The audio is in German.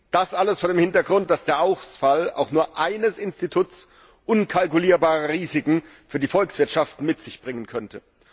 Das alles vor dem Hintergrund, dass der Ausfall auch nur eines Instituts unkalkulierbare Risiken für die Volkswirtschaften mit sich bringen könnte.